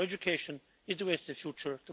So education is the way to the future.